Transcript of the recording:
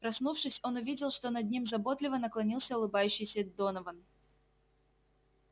проснувшись он увидел что над ним заботливо наклонился улыбающийся донован